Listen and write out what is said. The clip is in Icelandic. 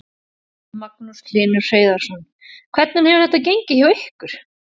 Magnús Hlynur Hreiðarsson: Hvernig hefur þetta gengið hjá ykkur?